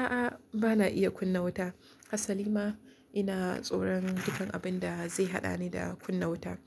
A'a, ba na iya kunna wuta. Hassali ma ina tsoron duk abin da zai haɗani da kunna wuta.